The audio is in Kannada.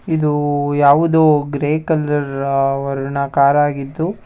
ಇದು ಯಾವುದೋ ಗ್ರೇ ಕಲರ್ ಆ- ವರ್ಣ ಕಾರ್ ಆಗಿದ್ದು --